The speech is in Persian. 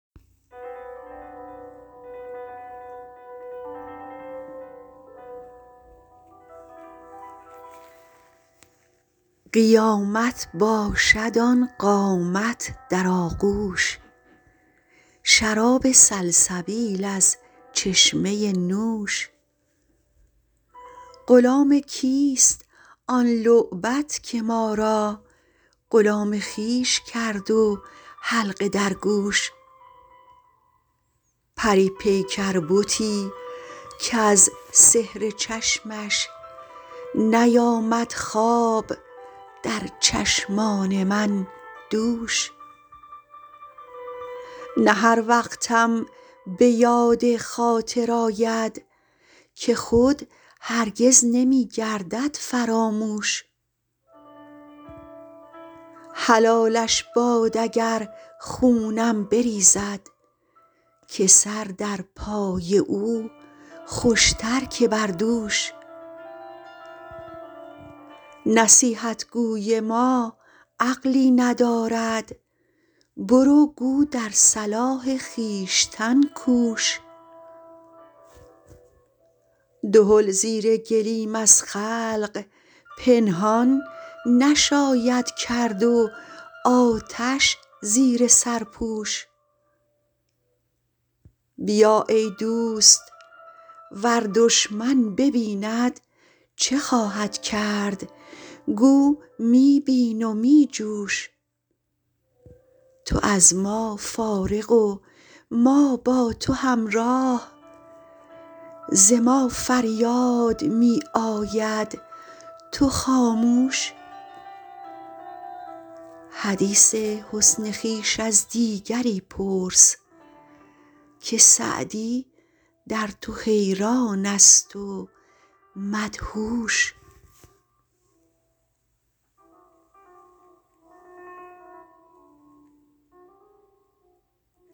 قیامت باشد آن قامت در آغوش شراب سلسبیل از چشمه نوش غلام کیست آن لعبت که ما را غلام خویش کرد و حلقه در گوش پری پیکر بتی کز سحر چشمش نیامد خواب در چشمان من دوش نه هر وقتم به یاد خاطر آید که خود هرگز نمی گردد فراموش حلالش باد اگر خونم بریزد که سر در پای او خوش تر که بر دوش نصیحت گوی ما عقلی ندارد برو گو در صلاح خویشتن کوش دهل زیر گلیم از خلق پنهان نشاید کرد و آتش زیر سرپوش بیا ای دوست ور دشمن ببیند چه خواهد کرد گو می بین و می جوش تو از ما فارغ و ما با تو همراه ز ما فریاد می آید تو خاموش حدیث حسن خویش از دیگری پرس که سعدی در تو حیران است و مدهوش